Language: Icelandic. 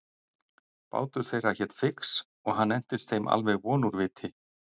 Bátur þeirra hét Fix og hann entist þeim alveg von úr viti.